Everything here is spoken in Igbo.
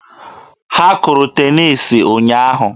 Ha kụrụ teniisi ụnyaahụ.